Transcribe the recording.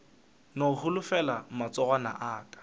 no holofela matsogwana a aka